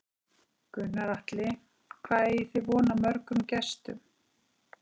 Gunnar Atli: Hvað eigið þið von á mörgum gestum?